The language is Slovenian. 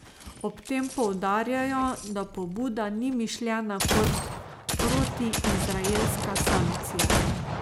Ob tem poudarjajo, da pobuda ni mišljena kot protiizraelska sankcija.